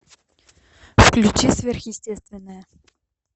включи сверхъестественное